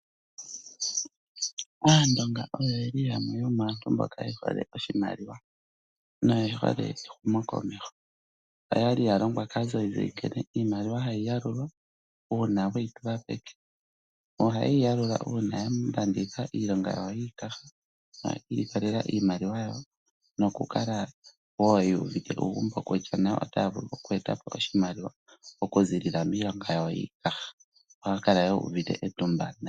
Aandonga oyo yamwe yomaantu mboka ye hole oshimaliwa noye hole ehumokomeho. Oya longwa kaazayizayi nkene iimaliwa hayi yalulwa uuna we yi pewa peke. Ohaye yi yalula uuna ya manitha iilonga yawo yiikaha, yi ilikolela iimaliwa yawo nokukala wo yu uvite uugombo kutya nayo otaya vulu oku eta po oshimaliwa okuziilila miilonga yawo yiikaha. Ohaya kala wo yu uvite etumba.